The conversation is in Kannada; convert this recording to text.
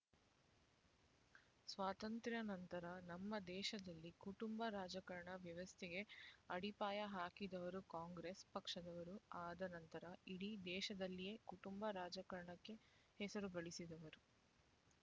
ಸ್ವಾತಂತ್ರ್ಯ ನಂತರ ನಮ್ಮ ದೇಶದಲ್ಲಿ ಕುಟುಂಬ ರಾಜಕಾರಣ ವ್ಯವಸ್ಥೆಗೆ ಅಡಿಪಾಯ ಹಾಕಿದವರು ಕಾಂಗ್ರೆಸ್ ಪಕ್ಷದವರು ಆದ ನಂತರ ಇಡೀ ದೇಶದಲ್ಲಿಯೇ ಕುಟುಂಬ ರಾಜಕಾರಣಕ್ಕೆ ಹೆಸರು ಗಳಿಸಿದವರು